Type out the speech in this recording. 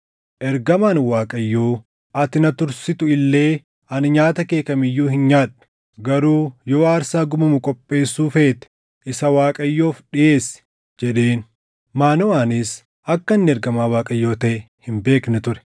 Ergamaan Waaqayyoo, “Ati na tursitu illee, ani nyaata kee kam iyyuu hin nyaadhu. Garuu yoo aarsaa gubamu qopheessuu feete, isa Waaqayyoof dhiʼeessi” jedheen. Maanoʼaan akka inni ergamaa Waaqayyoo taʼe hin beekne ture.